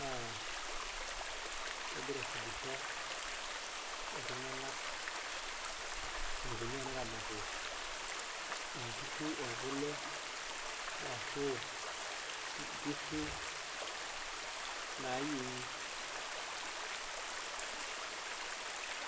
naa kegira aifundisha iltung'anak eneikoni teneramati inkishu ekule arashuu inkishu naayieng'i.